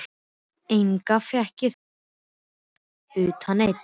Enga fékk ég þangað gesti utan einn.